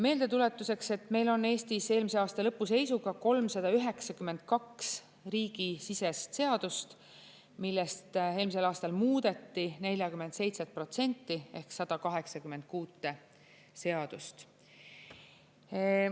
Meeldetuletuseks, meil on Eestis eelmise aasta lõpu seisuga 392 riigisisest seadust, millest eelmisel aastal muudeti 47% ehk 186 seadust.